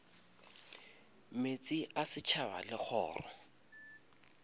meetse a setšhaba le kgoro